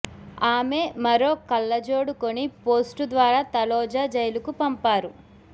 ఆమె మరో కళ్లజోడు కొని పోస్టు ద్వారా తలోజ జైలుకు పంపారు